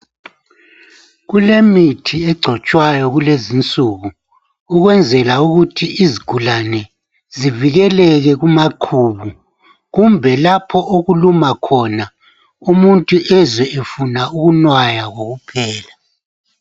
Kulemithi egcotshwayo kulezinsuku ukwenzela ukuthi izigulane zivikeleke kumakhulu kumbe lapho okuluma khona umuntu ezwe efuna ukunwaya kokuphela .